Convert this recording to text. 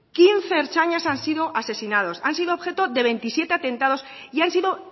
quince ertzainas han sido asesinados han sido objeto de veintisiete atentados y han sido